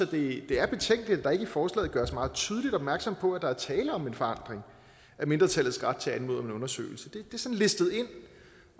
det er betænkeligt at der ikke i forslaget gøres meget tydeligt opmærksom på at der er tale om en forandring af mindretallets ret til at anmode om en undersøgelse det er sådan listet ind